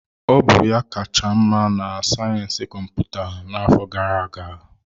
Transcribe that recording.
Ọ bụ ya kacha mma na sayensị kọmputa n'afọ gara aga.